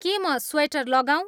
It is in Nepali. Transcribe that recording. के म स्वेटर लगाऊँ